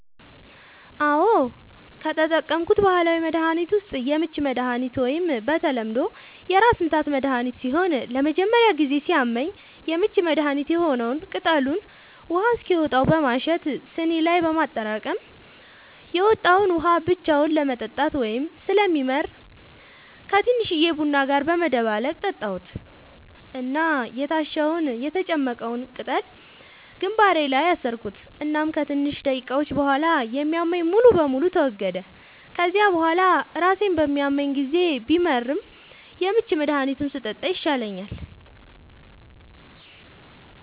አዎ, ከተጠቀምኩት ባህላዊ መድሀኒት ዉስጥ የምች መድሃኒት ወይም በተለምዶ የራስምታት መድሀኒት ሲሆን ለመጀመሪያ ጊዜ ሲያመኝ የምች መድሀኒት የሆነዉን ቅጠሉን ውሃ እስኪወጣው በማሸት ስኒ ላይ በማጠራቀም የወጣዉን ውሃ ብቻውን ለመጠጣት በጣም ስለሚመር ከቲንሽዬ ቡና ጋር በመደባለቅ ጠጣሁት እና የታሸዉን (የተጨመቀዉን ፈ)ቅጠል ግንባሬ ላይ አሰርኩት እናም ከትንሽ ደቂቃዎች ቡሃላ የሚያመኝ ሙሉ በሙሉ ተወገደ፤ ከዚያ ቡሃላ ራሴን በሚያመኝ ጊዜ ቢመርም የምች መድሃኒቱን ስጠጣ ይሻለኛል።